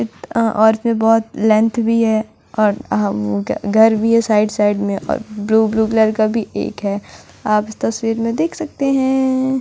बहुत लेंथ भी है और घर भी है साइड साइड में ब्लू ब्लू कॉलर का भी एक है आप तसवीर में देख सकते है --